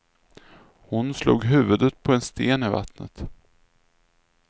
Hon slog huvudet på en sten i vattnet.